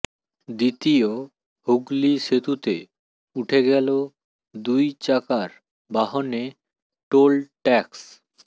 দ্বিতীয় হুগলি সেতুতে উঠে গেল দুই চাকার বাহনে টোল ট্যাক্স